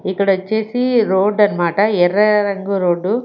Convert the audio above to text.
ఇక్కడ వచ్చేసి రోడ్ అన్నమాట ఎర్ర రంగు రోడ్డు .